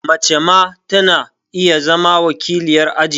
Mace ma ta na iya zama wakiliyar aji